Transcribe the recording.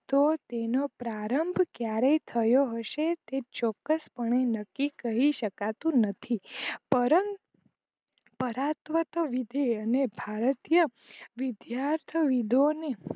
તો તેનો પ્રારંભ ક્યારે થયો હસે તે ચોક્કસ પણે નક્કી કહી સકાતું નથી પરમ પરાત્વત લીધે અને ભારતીય વિધયાર્થ વિદોને